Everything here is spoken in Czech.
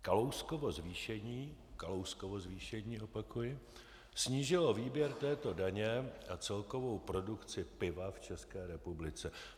Kalouskovo zvýšení" - Kalouskovo zvýšení, opakuji - "snížilo výběr této daně a celkovou produkci piva v České republice."